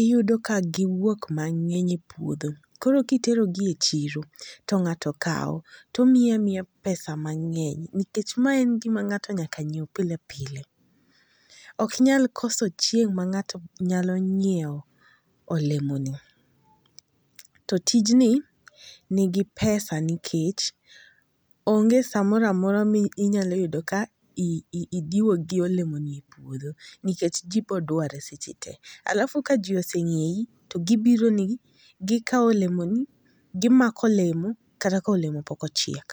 iyudo ka giwuok mangeny e pouodho koro kitero gi e chiro to ng'ato kawo tomiyi amiya pesa mangeny nikech man en gima ng'ato nyaka nyiew pilepile. Ok inyal koso chieng ma ng'ato nyalo nyiewo olemoni. To tijni nigi pesa nikech onge samoramora minyalo yudo ka i idiwo gi olemo ni opuodho nikech jiii modware seche tee. Alafu ka jiii oseng'eyi to gibiro ni gi gikawo olemo ni gimako olemo kata kolemo pok ochiek